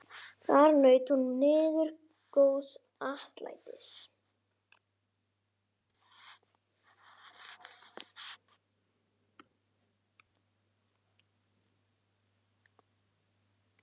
Þar naut hún miður góðs atlætis.